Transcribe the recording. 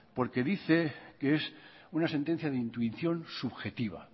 porque dice que es una sentencia de intuición subjetiva